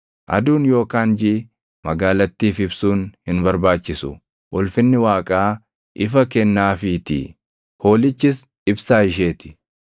Aduun yookaan jiʼi magaalattiif ibsuun hin barbaachisu; ulfinni Waaqaa ifa kennaafiitii; Hoolichis ibsaa ishee ti.